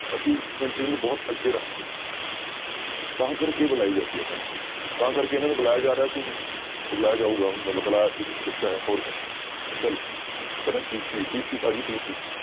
ਅਸੀਂ ਉਸ country ਨੂੰ ਬਹੁਤ ਅੱਗੇ ਰੱਖਦੇ ਹਾਂ ਤਾਂ ਕਰਕੇ ਬੁਲਾਈ ਜਾਂਦੀਆਂ ਕੰਟਰੀਆਂ, ਤਾਂ ਕਰਕੇ ਇਹਨਾਂ ਨੂੰ ਬੁਲਾਇਆ ਜਾ ਰਿਹਾ ਸੀ ਹੁਣ ਉਹ ਬੁਲਾਇਆ ਜਾਊਗਾ ਹੁਣ ਮਤਲਬ ਬੁਲਾਇਆ ਹੋਰ ਕਿਆ ਚਲੋ ਕਹਿੰਦਾ ਸ਼ੀਸ਼ੀ ਸ਼ੀਸ਼ੀ ਭਾਜੀ ਸ਼ੀਸ਼ੀ।